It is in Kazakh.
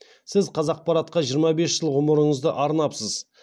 сіз қазақпаратқа жиырма бес жыл ғұмырыңызды арнапсыз